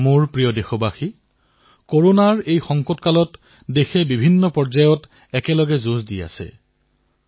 মোৰ মৰমৰ দেশবাসীসকল কৰোনাৰ এই সময়ছোৱাত দেশবাসীয়ে বিভিন্ন একে সময়তে বিভিন্ন যুদ্ধত অৱতীৰ্ণ হবলগীয়া হৈছে